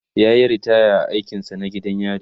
yayi ritaya a aikin sa na gidan yari